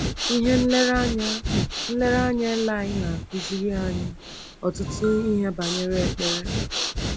Ihe nlereanya nlereanya eli na-akụziri anyị ọtụtụ ihe banyere ekpere.